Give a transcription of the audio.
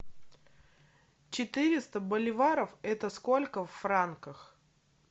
четыреста боливаров это сколько в франках